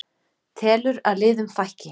Telur að liðum fækki